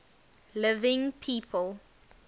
living people